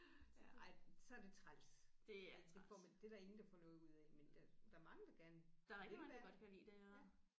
Ja ej så er det træls det får man det er der ingen der får noget ud af men der der er mange der gerne vil ja ja